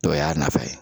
Dɔ y'a nafa ye